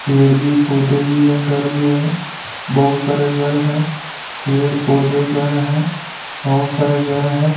पेड़ भी पौधे भी है घर भी है बहुत सारे घर हैं पेड़ पौधे घर हैं बहुत सारे घर हैं।